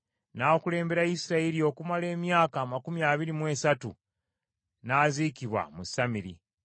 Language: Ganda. N’akulembera Isirayiri okumala emyaka amakumi abiri mu esatu, n’aziikibwa mu Samiri.